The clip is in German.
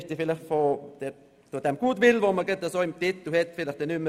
Damit ist von dem im Titel vorhandenen Goodwill nicht mehr viel übrig.